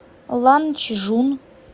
ланчжун